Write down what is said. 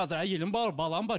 қазір әйелім бар балам бар